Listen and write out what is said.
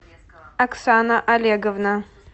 оксана олеговна